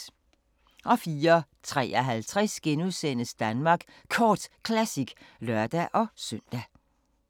04:53: Danmark Kort Classic *(lør-søn)